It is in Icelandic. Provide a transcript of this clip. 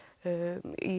í